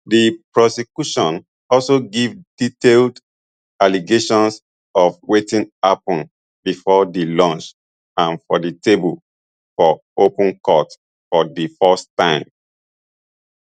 di prosecution also give detailed allegations of wetin happun bifor di lunch and for di table for open court for di first time